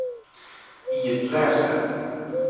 itläs det